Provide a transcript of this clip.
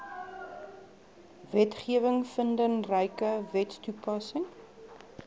wetgewing vindingryke wetstoepassing